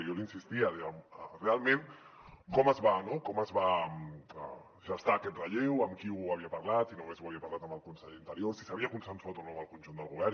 jo li insistia deia realment com es va gestar aquest relleu amb qui ho havia parlat si només ho havia parlat amb el conseller d’interior si s’havia consensuat o no amb el conjunt del govern